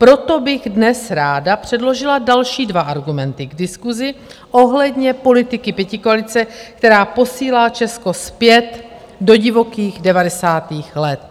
Proto bych dnes ráda předložila další dva argumenty k diskusi ohledně politiky pětikoalice, která posílá Česko zpět do divokých devadesátých let.